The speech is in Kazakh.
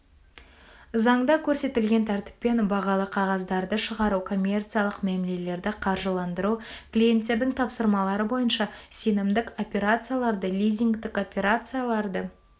заңда көрсетілген тәртіппен бағалы қағаздарды шығару коммерциялық мәмлелерді қаржыландыру клиенттердің тапсырмалары бойынша сенімдік операцияларды лизингтік операцияларды